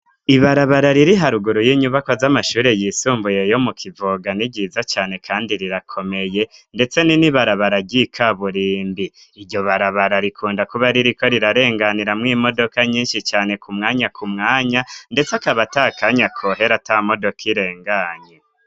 Ibarabara riri haruguru y'inyubakwa z'amashuri yisumbuye ryo mu kivoga ni ryiza cane kandi rirakomeye ndetse ni n'ibarabara ry'ikaburimbi ,iryo barabara rikunda kuba ririko rirarenganiramwo imodoka nyinshi cane ku mwanya ku mwanya ndetse akaba atakanya kohera atamodoka irenganye.